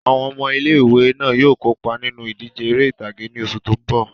Àwọn ọmọ ilé ìwé náà yóò kópa nínú ìdíje eré ìtàgé ní oṣù tó mbọ̀